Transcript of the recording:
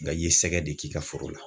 Nka i ye sɛgɛ de k'i ka foro la